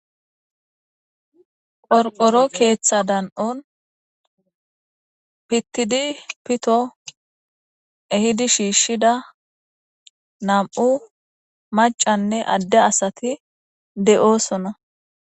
Qorqoro keetha dan'on pitidi pito ehidi shiishida nam'u macane adde asati de'osona .